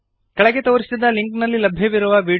ಕೆಳಗೆ ತೋರಿಸಿದ ಲಿಂಕ್ನಲ್ಲಿ ಲಭ್ಯವಿರುವ ವೀಡಿಯೋವನ್ನು ನೋಡಿರಿ